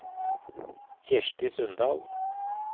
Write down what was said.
Kirsti Sundal